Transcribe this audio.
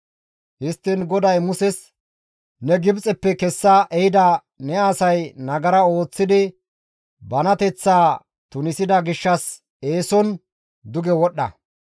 Histtiin GODAY Muses, «Ne Gibxeppe kessa ehida ne asay nagara ooththidi banateththaa tunisida gishshas eeson duge wodhdha.